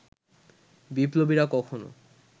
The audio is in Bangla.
বিপ্লবীরা কখনো